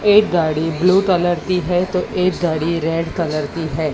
एक गाड़ी blue colour की है तो एक गाड़ी रेड कलर की है।